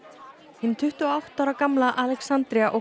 hin tuttugu og átta ára gamla Alexandria